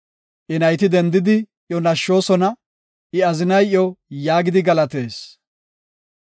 I nayti dendidi, iyo nashshoosona; I azinay iyo yaagidi galatees;